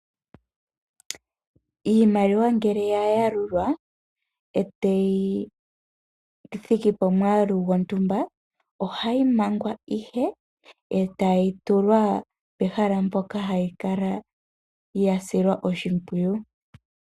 Iimaliwa ngele ya yalulwa e tayi thiki pomwaalu gontumba, ohayi mangwa e tayi tulwa pehala mpoka ya silwa oshimpwiyu.